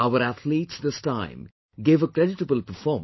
Our athletes this time gave a creditable performance